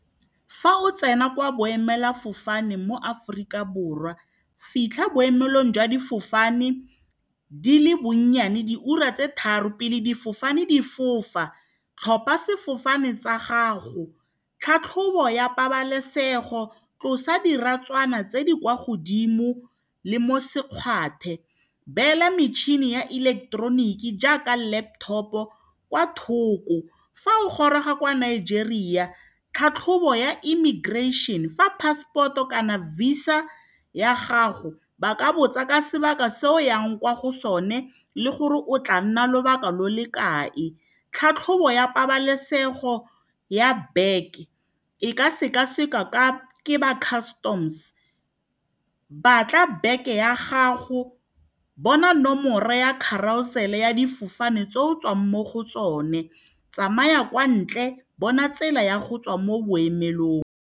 Fa o tsena kwa boemelafofane mo Aforika Borwa, fitlha boemelong jwa difofane di le bonnyane diura tse tharo pele difofane di fofa. Tlhopha sefofane sa gago, tlhatlhobo ya pabalesego, tlosa diratswana tse di kwa godimo le mo sekgwathe, neela metšhini ya ileketeroniki jaaka laptop-o kwa thoko. Fa o goroga kwa Nigeria, tlhatlhobo ya immigration, fa passport-o kana VISA ya gago. Ba ka botsa ka sebaka se o yang kwa go sone le gore o tla nna lobaka lo le kae. Tlhatlhobo ya pabalesego ya bag-e e ka sekasekwa ke ba customs. Ba tla bona bag-e ya gago, bona nomoro ya carousel ya difofane tse o tswang mo go tsone, tsamaya kwa ntle, bona tsela ya go tswa mo boemelong.